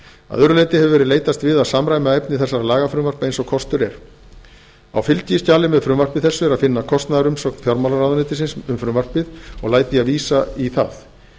að öðru leyti hefur verið leitast við að samræma efni þessara lagafrumvarpa eins og kostur er á fylgiskjali með frumvarpi þessu er að finna kostnaðarumsögn fjármálaráðuneytisins um frumvarpið og læt ég vísa í það